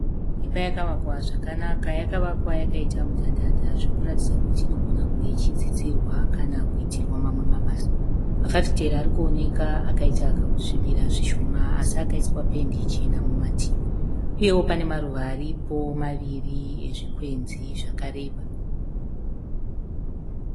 Imba yakavakwa zvakanaka. Yakavakwa yakaita mudhadhadha zvokuratidza kuti inogona kunge ichidzidzirwa kana kuitirwa mamwe mabasa. Mafafitera ari kuoneka akaita kakuswibira zvishoma asi akaiswa pendi chena mumativi. Uyewo pane maruva aripo maviri ezvikwenzi zvakareba.